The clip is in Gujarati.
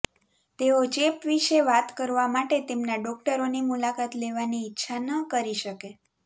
તેઓ ચેપ વિશે વાત કરવા માટે તેમના ડોકટરોની મુલાકાત લેવાની ઇચ્છા ન કરી શકે